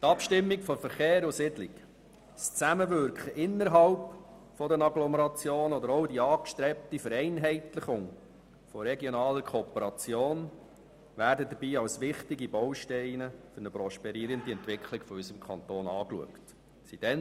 Die Abstimmung von Verkehr und Siedlung, das Zusammenwirken innerhalb der Agglomerationen oder auch die angestrebte Vereinheitlichung regionaler Kooperationen werden als wichtige Bausteine für eine prosperierende Entwicklung unseres Kantons betrachtet.